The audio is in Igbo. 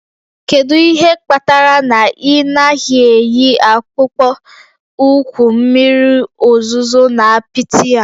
Kedu ihe kpatara na ị naghị eyi akpụkpọ ụkwụ mmiri ozuzo na apịtị a?